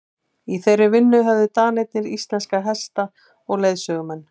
í þeirri vinnu höfðu danirnir íslenska hesta og leiðsögumenn